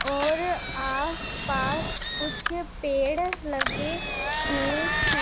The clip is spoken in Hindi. और आसपास कुछ पेड़ लगे हुए हैं।